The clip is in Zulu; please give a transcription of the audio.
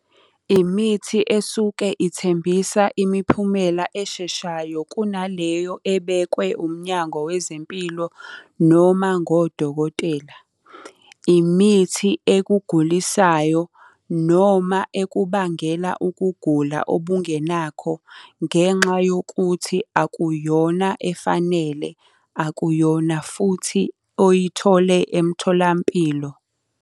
Imithi esuke ithembisa imiphumela esheshayo kunaleyo ebekwe umnyango wezempilo noma ngodokotela. Imithi ekugulisayo, noma ekubangela ukugula obungenakho, ngenxa yokuthi akuyona efanele, akuyona futhi oyithole emtholampilo.